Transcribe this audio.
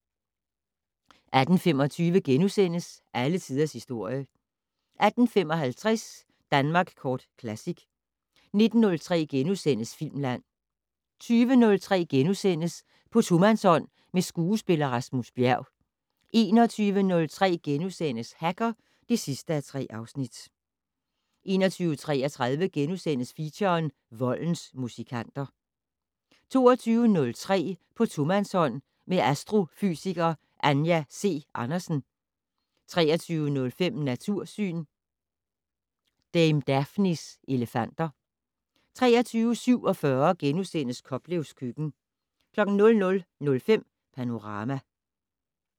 18:25: Alle tiders historie * 18:55: Danmark Kort Classic 19:03: Filmland * 20:03: På tomandshånd med skuespiller Rasmus Bjerg * 21:03: Hacker (3:3)* 21:33: Feature: Voldens musikanter * 22:03: På tomandshånd med astrofysiker Anja C. Andersen 23:05: Natursyn: Dame Daphnes elefanter 23:47: Koplevs køkken * 00:05: Panorama